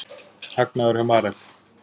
Hagnaður hjá Marel